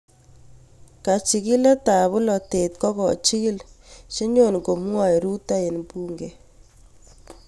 kachikilikab bolatet kokochikil chenyokomwae Ruto eng bunge